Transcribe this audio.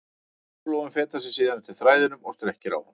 Köngulóin fetar sig síðan eftir þræðinum og strekkir á honum.